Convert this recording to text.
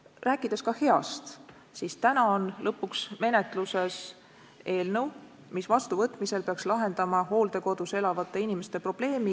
Kui rääkida ka heast, siis täna on lõpuks menetluses eelnõu, mis vastuvõtmise korral peaks lahendama hooldekodus elavate inimeste probleemi.